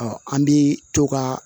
an bi to ka